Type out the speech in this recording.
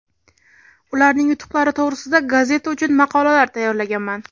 Ularning yutuqlari to‘g‘risida gazeta uchun maqolalar tayyorlaganman.